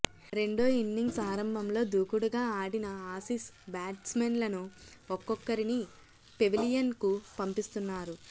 రెండో ఇన్నింగ్స్ ఆరంభంలో దూకుడుగా ఆడిన ఆసీస్ బ్యాట్స్మెన్లను ఒక్కొక్కరిని పెవిలియన్ కు పంపిస్తున్నారు